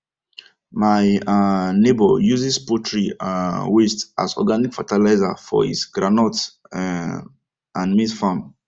my um neighbour uses poultry um waste as organic fertilizer for his groundnut um and maize farm